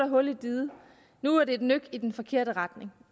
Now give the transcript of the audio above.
hul i diget og nu er det et nyk i den forkerte retning